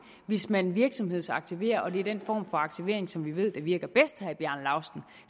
hvis man virksomhedsaktiverer er den form for aktivering som vi ved virker bedst